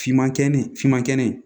Finman kɛn finman kɛn